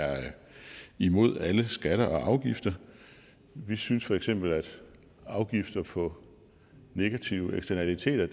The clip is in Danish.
imod alle skatter og afgifter vi synes feks at afgifter på negative eksternaliteter